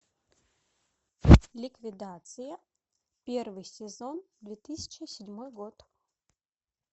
ликвидация первый сезон две тысячи седьмой год